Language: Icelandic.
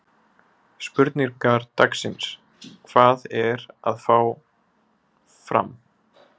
Spurningar dagsins: Hvað er að hjá Fram?